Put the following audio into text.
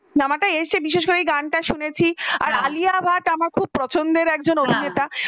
cinema এসেছে বিশেষ করে যখন গানটা শুনেছি, আলিয়া ভাট আমার পছন্দের এক অভিনেত্রী